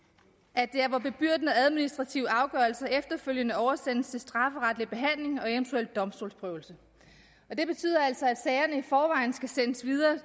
at det er hvor bebyrdende administrative afgørelser efterfølgende oversendes til strafferetlig behandling og eventuel domstolsprøvelse og det betyder altså at sagerne i forvejen skal sendes videre